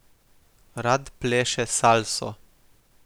Rad pleše salso.